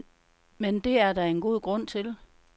Men det er der en god grund til.